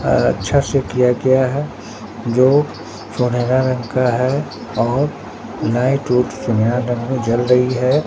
अच्छा से किया गया है जो सुनहरा रंग का है और लाइट यहां पर जल रही है।